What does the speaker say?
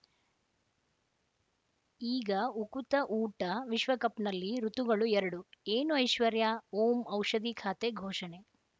ಈಗ ಉಕುತ ಊಟ ವಿಶ್ವಕಪ್‌ನಲ್ಲಿ ಋತುಗಳು ಎರಡು ಏನು ಐಶ್ವರ್ಯಾ ಓಂ ಔಷಧಿ ಖಾತೆ ಘೋಷಣೆ